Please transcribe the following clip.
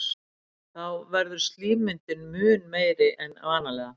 Þá verður slímmyndun mun meiri en vanalega.